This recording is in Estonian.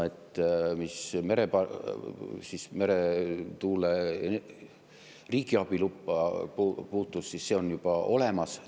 Mis meretuule riigiabiluppa puutub, siis see on juba olemas.